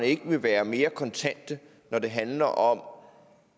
ikke vil være mere kontante når det handler om